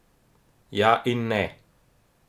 Ja in ne.